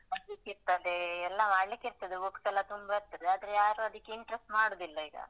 ಓದ್ಲಿಕ್ಕಿರ್ತ್ತದೆ ಎಲ್ಲ ಮಾಡ್ಲಿಕ್ ಇರ್ತದೆ books ಎಲ್ಲ ತುಂಬ ಇರ್ತದೆ ಆದ್ರೆ ಯಾರೂ ಅದಕ್ಕೆ interest ಮಾಡುದಿಲ್ಲ ಈಗ.